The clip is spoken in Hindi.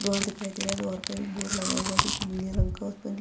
द्वार दिखाई दे रहा है द्वार पे एक बोर्ड लगा हुआ है जो की नील रंग का उस पर --